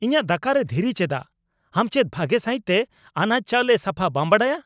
ᱤᱧᱟᱜ ᱫᱟᱠᱟᱨᱮ ᱫᱷᱤᱨᱤ ᱪᱮᱫᱟᱜ ? ᱟᱢ ᱪᱮᱫ ᱵᱷᱟᱜᱮ ᱥᱟᱹᱦᱤᱫ ᱛᱮ ᱟᱱᱟᱡ ᱪᱟᱣᱞᱮ ᱥᱟᱯᱷᱟ ᱵᱟᱢ ᱵᱟᱰᱟᱭᱟ ?